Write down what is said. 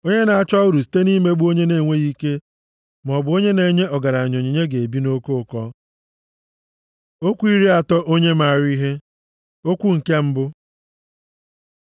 Onye na-achọ uru site nʼimegbu onye na-enweghị ike, maọbụ onye na-enye ọgaranya onyinye ga-ebi nʼoke ụkọ. Okwu iri atọ onye maara ihe Okwu nke mbụ